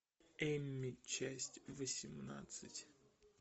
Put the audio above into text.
эмми часть восемнадцать